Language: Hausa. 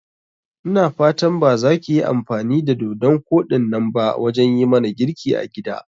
Ina fatan bazakiyi amfani da dodun koɗinnan ba wajan yimana girki a gida?